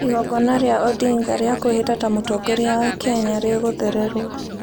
Igongona rĩa Odinga rĩa kwĩhĩta ta Mũtongoria wa Kenya rĩgũthererũo